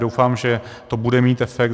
Doufám, že to bude mít efekt.